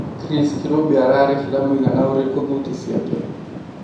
Chris Kirubi ararĩhĩra mũigana ũrikũ thuti ciake